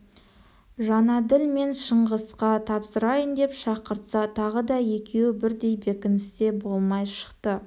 жәнәділ мен шыңғысқа тапсырайын деп шақыртса тағы да екеуі бірдей бекіністе болмай шықты